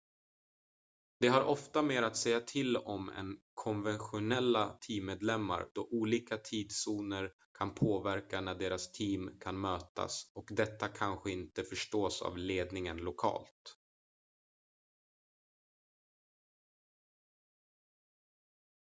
de har ofta mer att säga till om än konventionella teammedlemmar då olika tidszoner kan påverka när deras team kan mötas och detta kanske inte förstås av ledningen lokalt